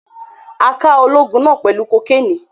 A ká olóògùn náà pẹlu kò Kénì